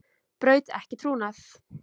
Braut ekki trúnað